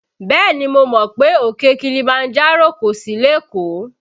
Bẹ́ẹ̀ni mo mọ̀ pé òkè Kilimanjaro kò sí lékòó